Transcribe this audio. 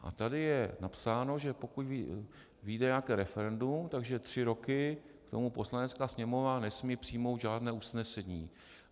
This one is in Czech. A tady je napsáno, že pokud vyjde nějaké referendum, tak tři roky k tomu Poslanecká sněmovna nesmí přijmout žádné usnesení.